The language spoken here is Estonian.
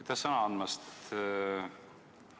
Aitäh sõna andmast!